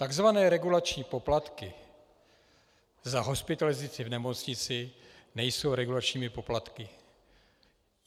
Takzvané regulační poplatky za hospitalizaci v nemocnici nejsou regulačními poplatky.